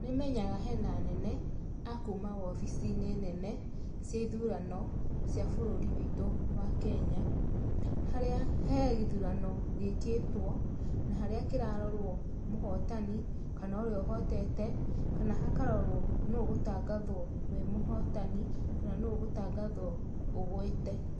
Nĩ menyaga hena anene a kuuma wobici-inĩ nene cia ithurano cia bũrũri witũ wa Kenya, harĩa he gĩthurano gĩkĩtwo, na harĩa kĩrarorwo mũhotani, kana ũrĩa ũhotete, kana hakarorwo nũũ ũgũtangathwo wĩ mũhotani, kana nũũ ũgũtangathwo ũgwĩte.